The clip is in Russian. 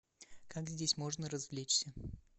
как здесь можно развлечься